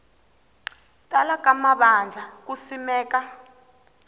tala ka mavandla ku simeka